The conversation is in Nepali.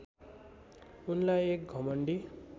उनलाई एक घमण्डी